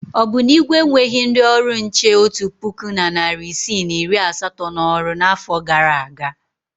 Ọ bụ na Igwe enweghi ndị ọrụ nche otu puku na narị isii na iri asatọ n'ọrụ n'afọ gara aga?